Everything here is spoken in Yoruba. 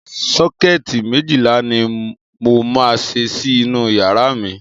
Sọ́kẹ́ẹ̀tì méjìlá ni mo máa ṣe sí inú yàrá mi.